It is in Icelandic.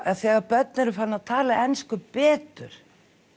þegar börn eru farin að tala ensku betur